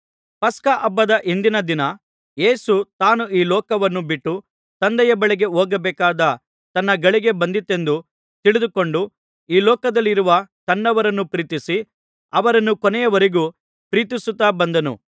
ಪಸ್ಕಹಬ್ಬದ ಹಿಂದಿನ ದಿನ ಯೇಸು ತಾನು ಈ ಲೋಕವನ್ನು ಬಿಟ್ಟು ತಂದೆಯ ಬಳಿಗೆ ಹೋಗಬೇಕಾದ ತನ್ನ ಗಳಿಗೆ ಬಂದಿತೆಂದು ತಿಳಿದುಕೊಂಡು ಈ ಲೋಕದಲ್ಲಿರುವ ತನ್ನವರನ್ನು ಪ್ರೀತಿಸಿ ಅವರನ್ನು ಕೊನೆಯವರೆಗೂ ಪ್ರೀತಿಸುತ್ತಾ ಬಂದನು